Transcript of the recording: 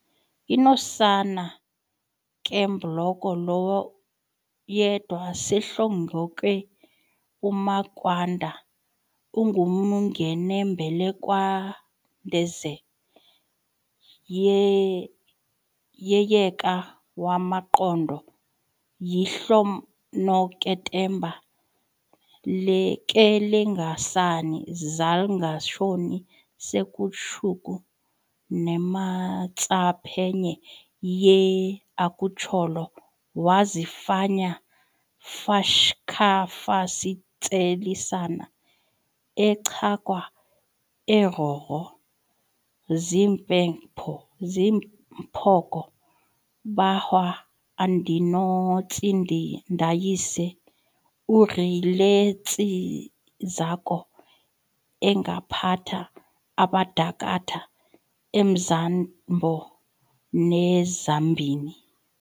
Inosana kebhloko lwoYedwa seHlongonke umakwanda umngwenombelwandaketezwe yeYeka wamanqhona yiHlonoketemba keLengasani zaIngekashoni seKhushuku neMatsaphenye ye-akhut'lolo wazifanya fashak'hafasitselisana aCakhwa oRoko zimphoko bahwa uNdinotjindayise uRiLetsikazo engaphata abadakhatha emzambato neTzambini